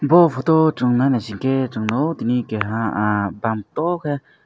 bo photo o chong nai naisingke song nogo tini keha ah bam toh ke.